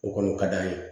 O kɔni o ka d'an ye